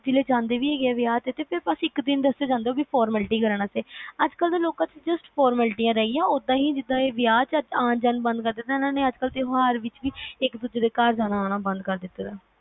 ਜਾਂਦੇ ਵੀ ਹੈਗੇ ਵਿਆ ਤੇ ਅਸੀਂ ਤਾ ਸਿਰਫ ਇਕ ਦਿਨ ਵਾਸਤੇ ਜਾਂਦੇ ਓਹ ਵੀ formality ਰਹਿ ਗਿਆ ਓਹਦਾ ਹੀ ਜਿੰਦਾ ਵਿਆਹ ਚ ਆਂ ਜਾਨ ਬੰਦ ਕਰਤਾ, ਇਨ੍ਹਾਂ ਨੇ ਤਿਓਹਾਰ ਵਿਚ ਵੀ ਇਕ ਦੂਜੇ ਦੇ ਅਨਾ ਜਾਣਾ ਬੰਦ ਕਰ ਦਿਤਾ ਹੈ